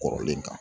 Kɔrɔlen kan